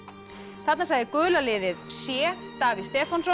þarna sagði gula liðið c Davíð Stefánsson